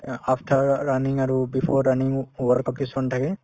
অ, after raw running আৰু before running ও work out কিছুমান থাকে